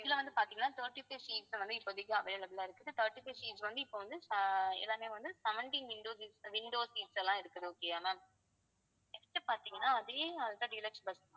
இதுல வந்து பாத்தீங்கன்னா thirty-five seats வந்து இப்போதைக்கு available ஆ இருக்குது thirty five seats வந்து இப்ப வந்து ஆஹ் எல்லாமே வந்து seventeen windows seats windows seats எல்லாம் இருக்குது okay யா ma'amnext பார்த்தீங்கன்னா அதே ultra deluxe bus